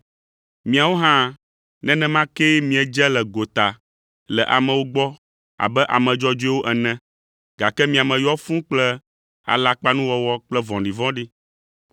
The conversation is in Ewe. Miawo hã, nenema kee miedze le gota le amewo gbɔ abe ame dzɔdzɔewo ene, gake mia me yɔ fũu kple alakpanuwɔwɔ kple vɔ̃ɖivɔ̃ɖi.